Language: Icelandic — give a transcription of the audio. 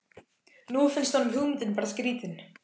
Nú finnst honum hugmyndin bara skrýtin.